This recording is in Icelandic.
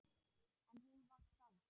En hún var sátt.